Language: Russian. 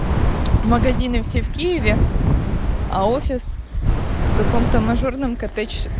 магазины все в киеве а офис в каком-то мажорном котеч